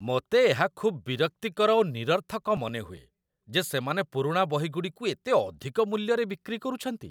ମୋତେ ଏହା ଖୁବ୍ ବିରକ୍ତିକର ଓ ନିରର୍ଥକ ମନେହୁଏ ଯେ ସେମାନେ ପୁରୁଣା ବହିଗୁଡ଼ିକୁ ଏତେ ଅଧିକ ମୂଲ୍ୟରେ ବିକ୍ରି କରୁଛନ୍ତି।